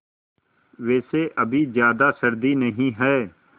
वैसे अभी ज़्यादा सर्दी नहीं है